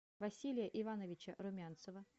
василия ивановича румянцева